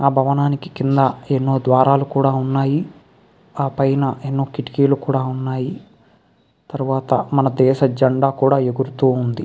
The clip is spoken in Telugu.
భవనానికి కింద ఎన్నో ద్వారాలు కూడా ఉన్నాయి. ఆ పైన ఎన్నో కిటికీలు కూడా ఉన్నాయి. తర్వాత మన దేశ జెండా కూడా ఎగురుతూ ఉంది.